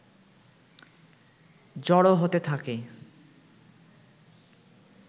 জড়ো হতে থাকে